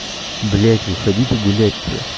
блять выходите гулять уже